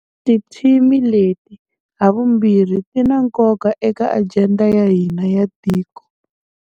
Tithimi leti havumbirhi ti na nkoka eka ajenda ya hina ya tiko.